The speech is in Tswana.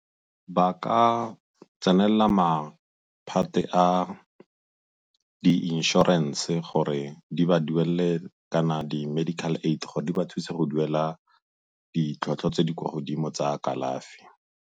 Ba ka tsenelela maphate a di inšorense gore di ba duelele kana di-medical aid-te gore di ba thuse go duela ditlhwatlhwa tse di kwa godimo tsa kalafi.